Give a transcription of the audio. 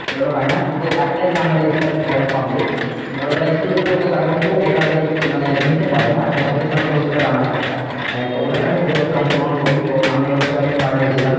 ওগুলো পাইনা কিন্তু একটাই খেলা আমাদের থাকে মানে public মানে ধরো যারা school এ পড়তো তারা কিন্তু এই খেলাটা তে মানে নিতে পারে হ্যাঁ সেটা হচ্ছে তোমার ষোলোশো meter run আছে একটা অ্যাঁ ওটাতে আমি প্রতিবছর অংশগ্রহণ করি তো সামনের বছর আমি third হয়েছিলাম